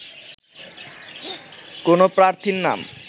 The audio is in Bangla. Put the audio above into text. কোনো প্রার্থীর নাম